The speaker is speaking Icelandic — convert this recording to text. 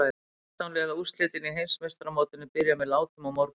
Sextán liða úrslitin í Heimsmeistaramótinu byrja með látum á morgun.